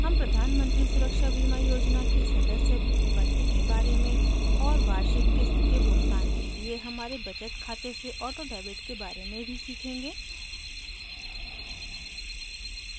हम प्रधान मंत्री सुरक्षा बीमा योजना के सदस्य बनने के बारे में और वार्षिक क़िस्त के भुगतान के लिए हमारे बचत खाते से ऑटोडेबिट के बारे में भी सीखेंगे